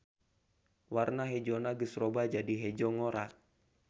Warna hejona geus robah jadi hejo ngora.